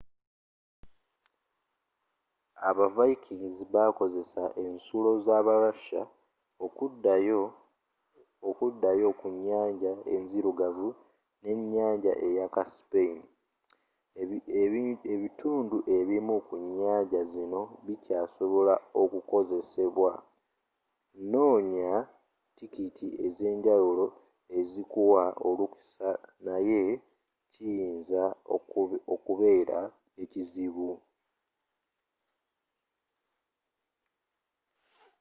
aba vikings bakozesa ensulo za ba russia okudayo ku nnyanja enzirugavu ne ennyanja eya caspian ebitundu ebimu ku nnyanja zino bikya sobola okukozesebwa noonya tikiti ezenjawuolo ezikuwa olukusa naye kiyinza okubeera ekizibu